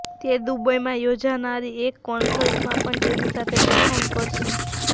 તે દુબઈમાં યોજાનારી એક કોન્સર્ટમાં પણ તેની સાથે પરફોર્મ કરશે